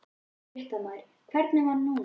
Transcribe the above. Fréttamaður: Hvernig var núna?